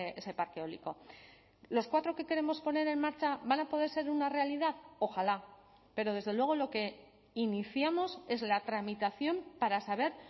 ese parque eólico los cuatro que queremos poner en marcha van a poder ser una realidad ojalá pero desde luego lo que iniciamos es la tramitación para saber